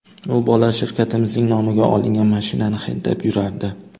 U bola shirkatimizning nomiga olingan mashinani haydab yurardi.